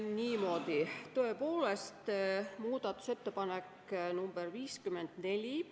Niimoodi, tõepoolest, muudatusettepanek nr 54.